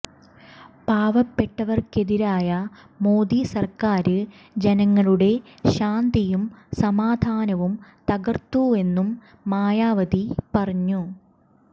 പാവപ്പെട്ടവര്ക്കെതിരായ മോദി സര്ക്കാര് ജനങ്ങളുടെ ശാന്തിയും സമാധാനവും തകര്ത്തുവെന്നും മായാവതി പറഞ്ഞു